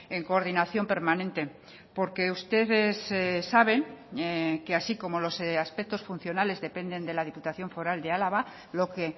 en coordinación permanente porque ustedes saben que así como los aspectos funcionales dependen de la diputación foral de álava lo que